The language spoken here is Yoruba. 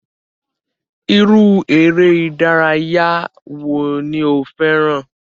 Iru ere idaraya wo ni o fẹran?